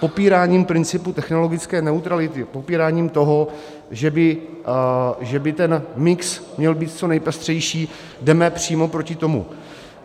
Popíráním principu technologické neutrality, popíráním toho, že by ten mix měl být co nejpestřejší, jdeme přímo proti tomu.